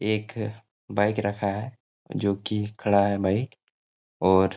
एक बाइक रखा है जो की खड़ा है बाइक और--